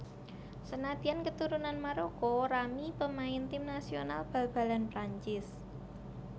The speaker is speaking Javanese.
Sanadyan keturunan Maroko Rami pemain tim nasional bal balan Prancis